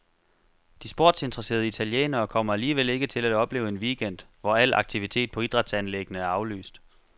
De sportsinteresserede italienere kommer alligevel ikke til at opleve en weekend, hvor al aktivitet på idrætsanlæggene er aflyst.